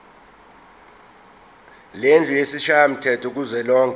lendlu yesishayamthetho kuzwelonke